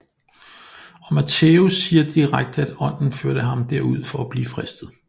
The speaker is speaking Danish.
Og Matthæus siger direkte at Ånden førte ham der ud for at blive fristet